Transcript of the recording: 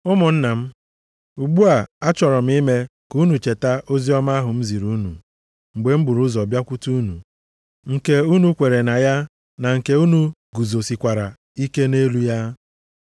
Ụmụnna m, ugbu a achọrọ m ime ka unu cheta oziọma ahụ m ziri unu mgbe m buru ụzọ bịakwute unu, nke unu kweere na ya, na nke unu guzosikwara ike nʼelu ya.